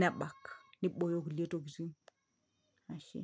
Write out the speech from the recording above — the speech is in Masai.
nebak nibooyo kulie tokiting ashe.